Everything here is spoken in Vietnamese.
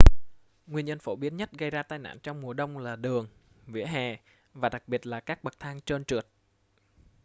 nguyên nhân phổ biến nhất gây ra tai nạn trong mùa đông là đường vỉa hè và đặc biệt là các bậc thang trơn trượt